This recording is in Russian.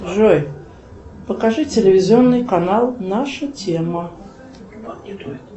джой покажи телевизионный канал наша тема